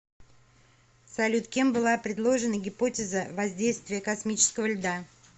салют кем была предложена гипотеза воздействия космического льда